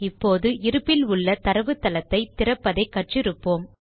இப்போது இருப்பில் உள்ள தரவுத்தளத்தை திறப்பதை கற்றிருப்போம்